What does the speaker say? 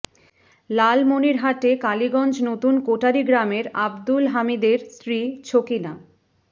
লালমনিরহাটে কালীগঞ্জ নতুন কোটারী গ্রামের আব্দুল হামীদের স্ত্রী ছকিনা